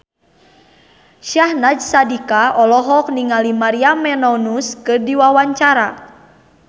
Syahnaz Sadiqah olohok ningali Maria Menounos keur diwawancara